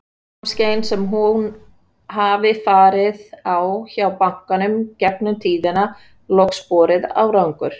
Öll námskeiðin sem hún hafi farið á hjá bankanum gegnum tíðina, loks borið árangur.